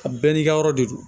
A bɛɛ n'i ka yɔrɔ de don